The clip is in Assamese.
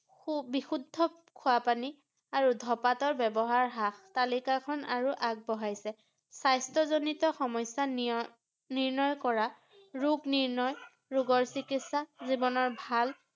সু বিশুদ্ধ খোৱা পানী আৰু ধপাতৰ ব্যৱহাৰ হ্ৰাস ৷ তালিকাখন আৰু আগবঢ়াইছে ৷ স্বাস্থ্যজনিত সমস্যা নিয়~ নিৰ্ণয় কৰা ৰোগ নিৰ্ণয়, ৰোগৰ চিকিৎসা, জীৱনৰ ভাল